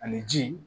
Ani ji